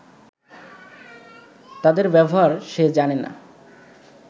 তাদের ব্যবহার সে জানে না